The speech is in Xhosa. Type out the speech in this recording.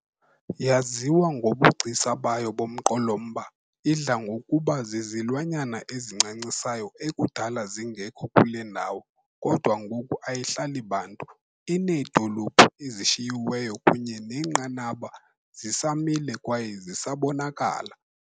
Yaziwa ngobugcisa bayo bomqolomba, idla ngokuba zizilwanyana ezincancisayo ekudala zingekho kule ndawo, kodwa ngoku ayihlali bantu, ineedolophu ezishiyiweyo kunye neenqaba zisamile kwaye ziyabonakala.